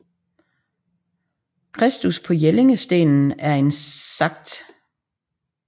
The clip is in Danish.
Kristus på Jellingstenen er en Skt